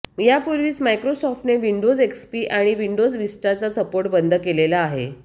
यापूर्वीच मायक्रोसॉफ्टने Windows XP आणि विंडोज विस्टा चा सपोर्ट बंद केलेला आहे